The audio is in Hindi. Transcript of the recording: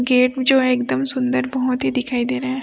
गेट जो है एकदम सुंदर बहोत ही दिखाई दे रहे हैं।